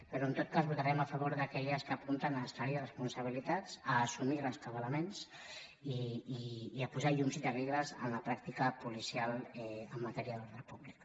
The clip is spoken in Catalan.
però en tot cas votarem a favor d’aquelles que apunten a esclarir responsabilitats a assumir rescabalaments i a posar llum i taquígrafs en la pràctica policial en matèria d’ordre públic